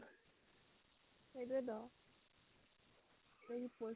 সেইটোয়েটো